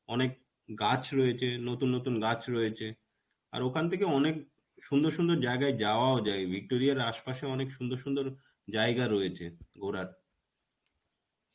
অনেক গাছ রয়েছে. নতুন নতুন গাছ রয়েছে. আর ওখান থেকে অনেক সুন্দর সুন্দর জায়গায় যাওয়াও যায়. এই Victoria এর আসপাশে অনেক সুন্দর সুন্দর জায়গা রয়েছে ঘোরার.